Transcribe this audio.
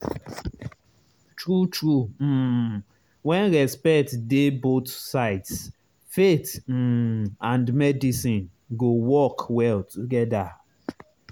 true true um when respect dey both sides faith um and medicine go work well together.